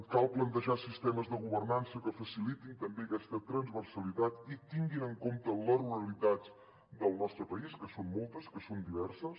cal plantejar sistemes de governança que facilitin també aquesta transversalitat i tinguin en compte les ruralitats del nostre país que són moltes que són diverses